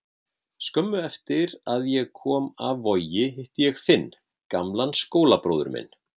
Skömmu eftir að ég kom af Vogi hitti ég Finn, gamlan skólabróður minn.